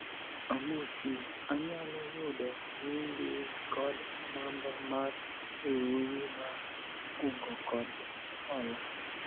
amosi, anyalo yudo nyingi kod namba mar riwruogi mar kungo kod hola ?